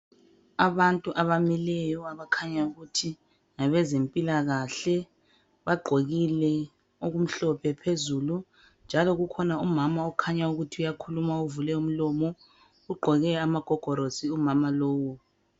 Abantu abamileyo abakhanya ukuthi ngabezempilakahle bagqokile okumhlophe phezulu njalo kukhona umama okhanya ukuthi uyakhuluma uvule umlomo, ugqoke amagogorosi umama lowo.